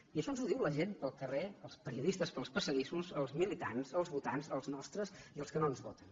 i això ens ho diu la gent pel carrer els periodistes pels passadissos els militants els votants els nostres i els que no ens voten